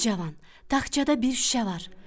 Ey cavan, taxçada bir şüşə var.